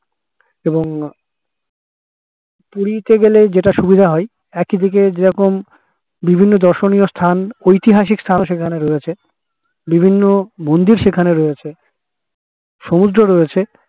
এবং পুরি তে গেলে যেটা সুবিধা হয় একই দিকে যেরকম বিভিন্ন দর্শনীয় স্থান ঐতিহাসিক স্থান সেখানে রয়েছে বিভিন্ন মন্দির সেখানে রয়েছে সমুদ্রও রয়েছে